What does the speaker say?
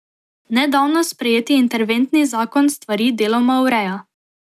Nedavno sprejeti interventni zakon stvari deloma ureja.